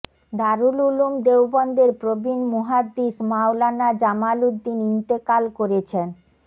দারুল উলুম দেওবন্দের প্রবীণ মুহাদ্দিস মাওলানা জামাল উদ্দিন ইন্তেকাল করেছেন